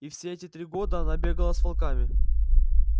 и все эти три года она бегала с волками